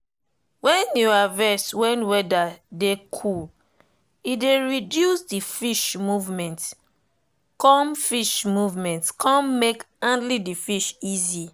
wen you harvest when weather dey cool e dey reduce the fish movement come fish movement come make handling the fish easy.